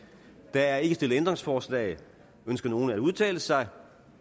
der er ikke stillet ændringsforslag ønsker nogen at udtale sig